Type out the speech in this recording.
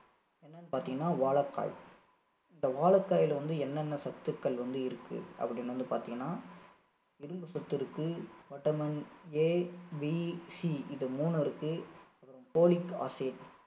என்னன்னு பாத்திங்கன்னா வாழைக்காய் இந்த வாழைக்காய்ல வந்து என்னென்ன சத்துக்கள் வந்து இருக்கு அப்படின்னு வந்து பாத்தீங்கன்னா இரும்புசத்து இருக்கு vitamin ABC இது மூணும் இருக்கு அப்பறம் folic acid